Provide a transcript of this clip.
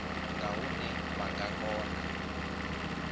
nga hune vha nga kona